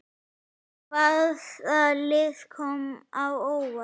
Hvaða lið koma á óvart?